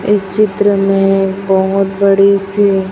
इस चित्र में बहुत बड़ी सी--